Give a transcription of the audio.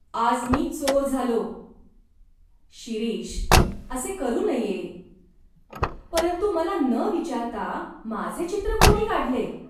आज मी चोर झालो" "शिरीष, असे करू नये. " "परंतु मला न विचारता माझे चित्र कोणी काढले?